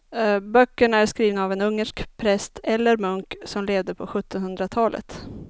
Böckerna är skrivna av en ungersk präst eller munk som levde på sjuttonhundratalet.